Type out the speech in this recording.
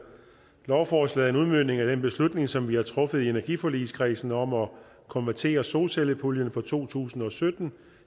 lovforslaget udmøntning af den beslutning som vi har truffet i energiforligskredsen om at konvertere solcellepuljen for to tusind og sytten